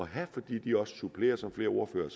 have fordi de også supplerer som flere ordførere